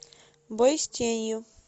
бой с тенью